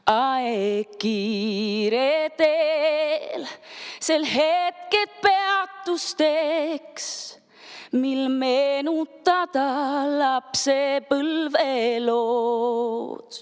Aeg kiire, veel sel hetkel peatus teeks, mil meenutada lapsepõlvelood.